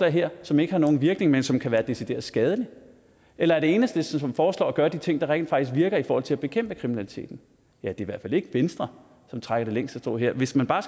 her som ikke har nogen virkning men som kan være decideret skadeligt eller det enhedslisten som foreslår at gøre de ting der rent faktisk virker i forhold til at bekæmpe kriminaliteten det er i hvert fald ikke venstre som trækker det længste strå her hvis man bare